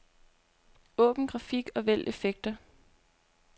Åbn grafik og vælg effekter.